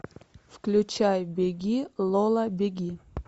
включай беги лола беги